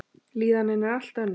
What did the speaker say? Líðanin er allt önnur.